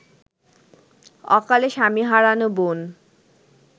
অকালে স্বামী হারানো বোন